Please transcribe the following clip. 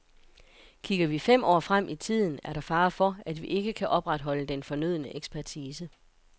Kigger vi fem år frem i tiden, er der fare for, at vi ikke kan opretholde den fornødne ekspertise.